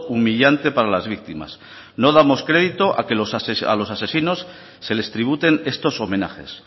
humillante para las víctimas no damos crédito a que los asesinos se les tributen estos homenajes